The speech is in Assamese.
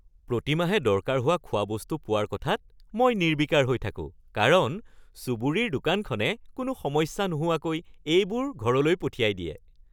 প্ৰতিমাহে দৰকাৰ হোৱা খোৱা বস্তু পোৱাৰ কথাত মই নিৰ্বিকাৰ হৈ থাকোঁ কাৰণ চুবুৰীৰ দোকানখনে কোনো সমস্যা নোহোৱাকৈ এইবোৰ ঘৰলৈ পঠিয়াই দিয়ে।